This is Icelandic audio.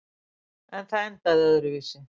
En það endaði öðruvísi.